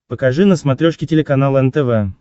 покажи на смотрешке телеканал нтв